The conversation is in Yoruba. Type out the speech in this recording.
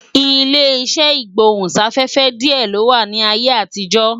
Ilé iṣẹ́ ìgbóhún-sáfẹ́fẹ́ díẹ̀ ló wà ní ayé àtijọ́